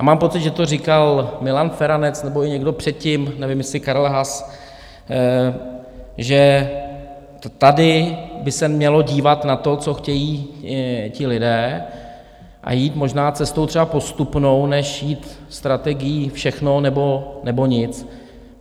A mám pocit, že to říkal Milan Feranec nebo i někdo předtím, nevím, jestli Karel Haas, že tady by se mělo dívat na to, co chtějí ti lidé, a jít možná cestou třeba postupnou, než jít strategií všechno, nebo nic.